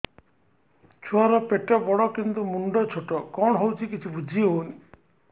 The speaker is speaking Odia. ଛୁଆର ପେଟବଡ଼ କିନ୍ତୁ ମୁଣ୍ଡ ଛୋଟ କଣ ହଉଚି କିଛି ଵୁଝିହୋଉନି